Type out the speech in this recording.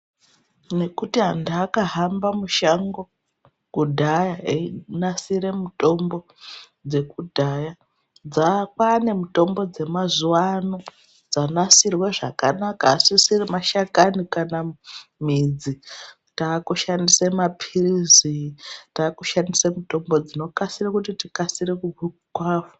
Ngekuti antu akahamba mushango kudhaya einasire mutombo dzekudhaya. Kwanemutombo dzemazuwa ano dzanaksirwe zvakanaka asisiri mashakani kana midzi. Takushandise mapirizi ,takushandisa mutombo dzinoite kuti tikasire kurapwa.